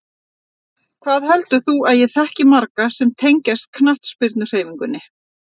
Hvað heldur þú að ég þekki marga sem tengjast knattspyrnuhreyfingunni?